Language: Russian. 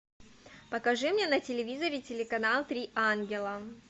покажи мне на телевизоре телеканал три ангела